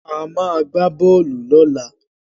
A máa gbá bọ́ọ́lù lọ́la.